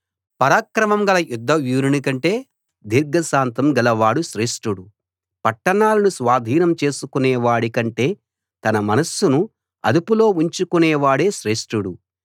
పరాక్రమం గల యుద్ధవీరుని కంటే దీర్ఘశాంతం గలవాడు శ్రేష్ఠుడు పట్టణాలను స్వాధీనం చేసుకునేవాడి కంటే తన మనస్సును అదుపులో ఉంచుకునేవాడు శ్రేష్ఠుడు